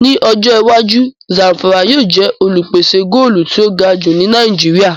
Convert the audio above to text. Ní ọjọ́ iwájú, Zàmfàrà yóò jẹ́ olùpèsè góòlù tí ó ga jù ní Nàìjíríà